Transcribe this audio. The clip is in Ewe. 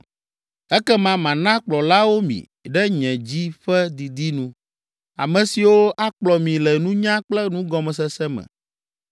Ekema mana kplɔlawo mi ɖe nye dzi ƒe didi nu, ame siwo akplɔ mi le nunya kple nugɔmesese me.